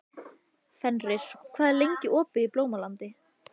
Fenrir, hvað er lengi opið í Blómalandi?